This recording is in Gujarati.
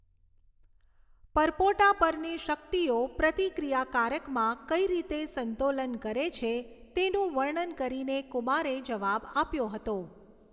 પરપોટા પરની શક્તિઓ પ્રતિક્રિયાકારકમાં કઈ રીતે સંતોલન કરે છે તેનું વર્ણન કરીને કુમારે જવાબ આપ્યો હતો.